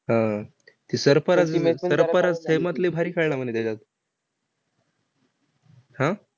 हा. ते सर्फराज सर्फराज भारी खेळला म्हणे त्याच्यात. हा?